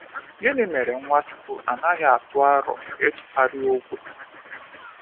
Gịnị mere Nwachukwu anaghị atụ aro ịtụgharị ogwe?